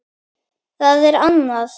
Það er annað